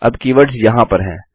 अब कीवर्ड्स वहाँ पर हैं